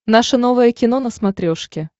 наше новое кино на смотрешке